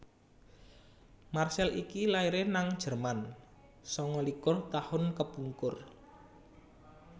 Marcel iki laire nang Jerman sanga likur tahun kepungkur